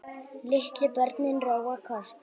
Litlu börnin róa kort.